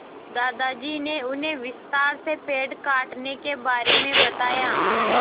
दादाजी ने उन्हें विस्तार से पेड़ काटने के बारे में बताया